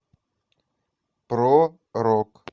про рок